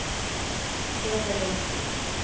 Peter Nordqvist